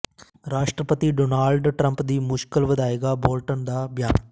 ਰਾਸ਼ਟਰਪਤੀ Donald Trump ਦੀ ਮੁਸ਼ਕਲ ਵਧਾਏਗਾ ਬੋਲਟਨ ਦਾ ਬਿਆਨ